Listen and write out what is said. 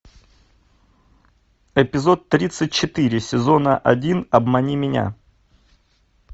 эпизод тридцать четыре сезона один обмани меня